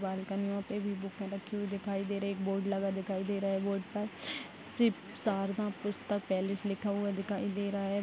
बालकनियों पे भी बूकें रखी हुई दिखाई दे रही एक बोर्ड लगा दिखाई दे रहा है। बोर्ड पर शिप शारदा पुस्तक पैलेस लिखा हुआ दिखाई दे रहा है।